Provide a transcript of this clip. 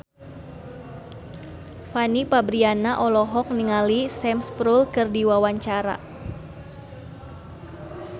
Fanny Fabriana olohok ningali Sam Spruell keur diwawancara